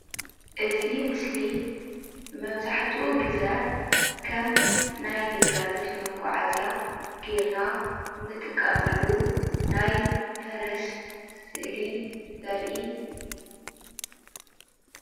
እዚ ምስሊ ጋሪ ዝበሃል ኮይኑ ፈረስ ተጠቂምና ንጥቀመሉ መጓዓዝያ እዩ።